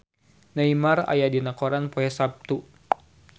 Neymar aya dina koran poe Saptu